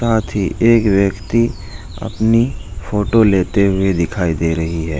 साथ ही एक व्यक्ति अपनी फोटो लेते हुए दिखाई दे रही है ।